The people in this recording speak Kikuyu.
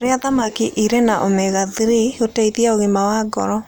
Rĩa thamakĩ ĩrĩ na omega 3 gũteĩthagĩa ũgima wa ngoro